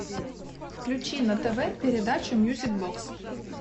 включи на тв передачу мьюзик бокс